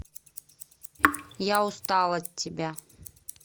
я устал от тебя